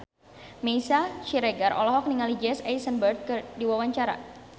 Meisya Siregar olohok ningali Jesse Eisenberg keur diwawancara